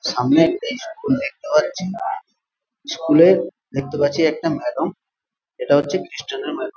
সামনে একটা স্কুল দেখতে পাচ্ছি স্কুল এ দেখতে পাচ্ছি একটা ম্যাডাম এটা হচ্ছে ম্যাডাম ।